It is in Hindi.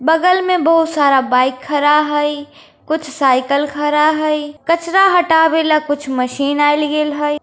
बगल में बहुत सारा बाइक खड़ा है कुछ साइकिल खड़ा है कचरा हतावेल कुछ मशीन आईल गेल हाई |